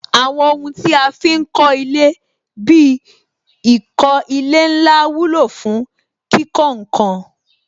Àwọn ohun tí a fi ń kọ ilé bí ìkó ilẹ̀ ńlá wúlò fún kíkó ǹkan